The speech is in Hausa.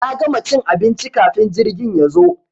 Na gama cin abinci kafin jirgin yazo.